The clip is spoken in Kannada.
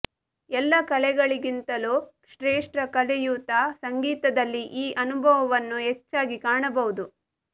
ಎಲ್ಲ ಕಲೆಗಳಿಗಿಂತಲೂ ಶ್ರೇಷ್ಠ ಕಲೆಯೂದ ಸಂಗೀತದಲ್ಲಿ ಈ ಅನುಭವವನ್ನು ಹೆಚ್ಚಾಗಿ ಕಾಣಬಹುದು